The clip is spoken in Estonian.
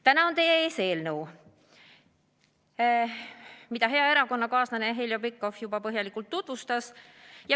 Täna on teie ees eelnõu, mida hea erakonnakaaslane Heljo Pikhof juba põhjalikult tutvustas.